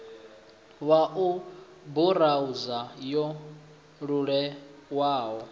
ya u burauza yo leluwaho